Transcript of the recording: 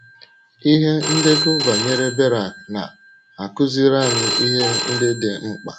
Ihe ndekọ banyere Berak na - akụziri anyị ihe ndị dị mkpa.